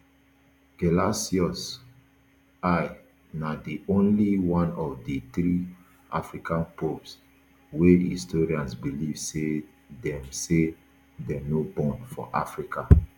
gelasius i na di only one of di three african popes wey historians believe say dem say dem no born for africa